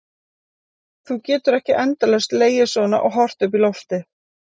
Þú getur ekki endalaust legið svona og horft upp í loftið.